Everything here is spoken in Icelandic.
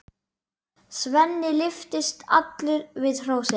Svenni lyftist allur við hrósið.